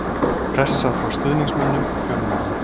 Pressa frá stuðningsmönnum og fjölmiðlum.